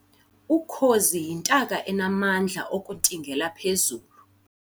Ukhozi yintaka enamandla okuntingela phezulu